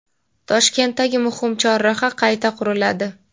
Toshkentdagi muhim chorraha qayta quriladi.